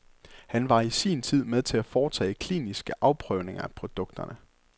Han var i sin tid med til at foretage kliniske afprøvninger af produkterne.